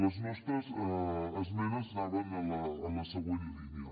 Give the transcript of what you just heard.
les nostres esmenes anaven en la següent línia